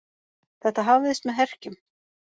Þetta hafðist með herkjum.